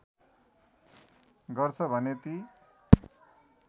गर्छ भने ती